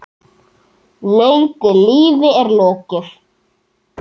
Löngu lífi er lokið.